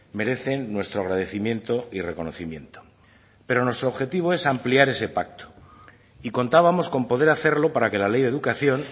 merecen nuestro agradecimiento y reconocimiento pero nuestro objetivo es ampliar ese pacto y contábamos con poder hacerlo para que la ley de educación